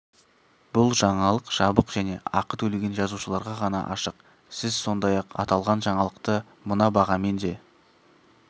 бұл жаңалық жабық және ақы төлеген жазылушыларға ғана ашық сіз сондай-ақ аталған жаңалықты мына бағамен де